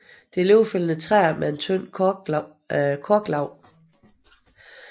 Det er løvfældende træer med et tyndt korklag